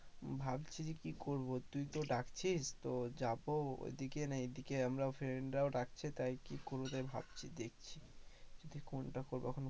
ভাবছি যে কি করবো তুই তো ডাকছিস তো যাবো ওদিকে না এদিকে আমার friend রাও ডাকছে, তাই কি করব তাই কি করবো তাই ভাবছি দেখছি কোনটা করবো